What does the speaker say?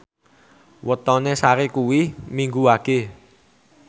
wetone Sari kuwi Minggu Wage